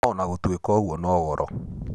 no ona gutuĩka ũguo no goro.